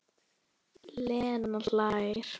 Lena hlær.